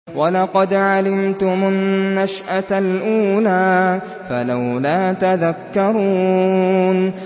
وَلَقَدْ عَلِمْتُمُ النَّشْأَةَ الْأُولَىٰ فَلَوْلَا تَذَكَّرُونَ